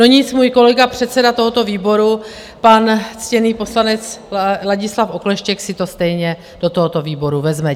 No nic, můj kolega, předseda tohoto výboru, pan ctěný poslanec Ladislav Okleštěk, si to stejně do tohoto výboru vezme.